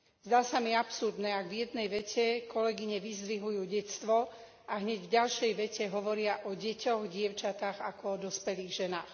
Zdá sa mi absurdné, ak v jednej vete kolegyne vyzdvihujú detstvo, a hneď v ďalšej vete hovoria o deťoch, dievčatách ako o dospelých ženách.